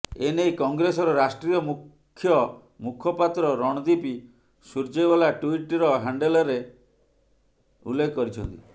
ଏନେଇ କଂଗ୍ରେସର ରାଷ୍ଟ୍ରୀୟ ମୁଖ୍ୟ ମୁଖପାତ୍ର ରଣଦୀପ ସୁର୍ଜେୱାଲା ଟ୍ବିଟ୍ ର ହ୍ୟାଣ୍ଡେଲରେ ଉଲ୍ଲେଖ କରିଛନ୍ତି